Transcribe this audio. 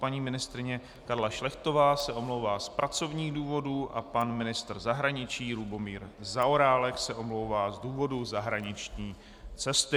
Paní ministryně Karla Šlechtová se omlouvá z pracovních důvodů a pan ministr zahraničí Lubomír Zaorálek se omlouvá z důvodu zahraniční cesty.